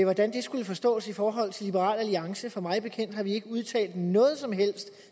hvordan det skulle forstås i forhold til liberal alliance for mig bekendt har vi ikke udtalt noget som helst